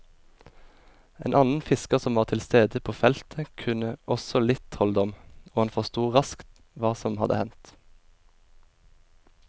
En annen fisker som var tilstede på felltet kunne også litt trolldom, og han forstod raskt hva som hadde hendt.